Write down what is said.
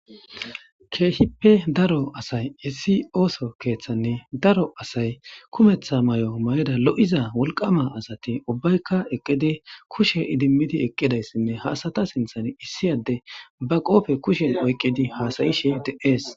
Keehippe daro asay issi ooso keeththanne daro asay kumeththa mayo mayida lo'iza wolqama asati ubbaykka eqqidi kushe idimmidi eqqida issinne ha asata sinthan issiyade ba qoobe kushen oyqidi haasayishe dees.